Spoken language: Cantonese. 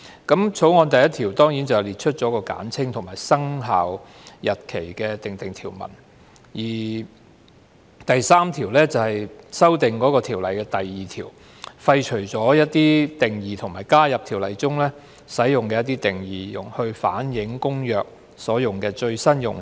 《條例草案》第1條列出簡稱，並就生效日期訂定條文，而《條例草案》第3條修訂《運貨貨櫃條例》第2條，廢除一些定義，並加入《條例》中使用的一些定義，以反映《公約》所用的最新用詞。